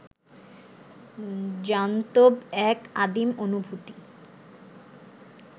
জান্তব এক আদিম অনুভূতি